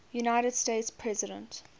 united states president